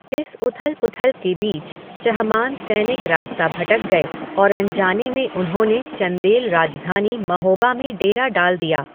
इस उथल पुथल के बीच, चहमान सैनिक रास्ता भटक गए और अनजाने में उन्होंने चंदेल राजधानी महोबा में डेरा डाल दिया।